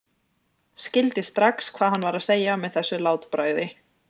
Skildi strax hvað hann var að segja með þessu látbragði.